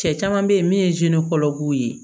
Cɛ caman bɛ yen min ye kɔlɔlɔw ye